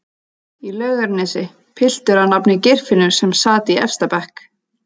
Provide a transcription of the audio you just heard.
í Laugarnesi, piltur að nafni Geirfinnur sem sat í efsta bekk